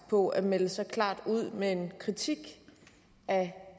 på at melde så klart ud med en kritik af